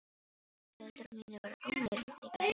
Foreldrar mínir voru ánægð líka held ég.